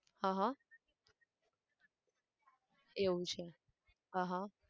આહ એવું છે આહ